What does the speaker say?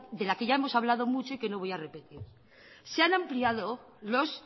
de la que ya hemos mucho y que no voy a repetir se han ampliado los